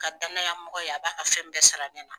Ka danaya mɔgɔ ye a b'a ka fɛn bɛɛ sara nɛ na.